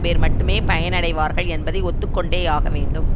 பேர் மட்டுமே பயனடைவார்கள் என்பதை ஒத்து கொண்டேயாக வேண்டும்